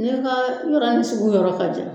N ka yɔrɔ ni sugu yɔrɔ ka jan